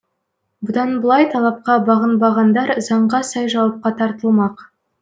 бұдан былай талапқа бағынбағандар заңға сай жауапқа тартылмақ